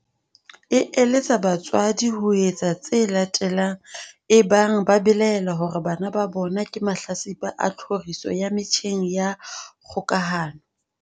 e eletsa batswadi ho etsa tse latelang ebang ba belaela hore bana ba bona ke mahlatsipa a tlhoriso ya metjheng ya kgokahano.